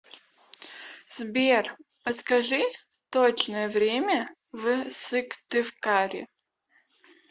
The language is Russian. сбер подскажи точное время в сыктывкаре